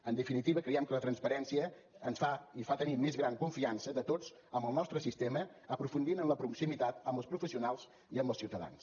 en definitiva creiem que la transparència ens fa i fa tenir més gran confiança de tots en el nostre sistema aprofundint en la proximitat amb els professionals i amb els ciutadans